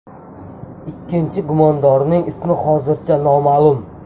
Ikkinchi gumondorning ismi hozircha noma’lum.